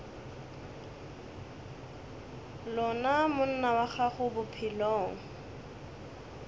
lona monna wa gago bophelong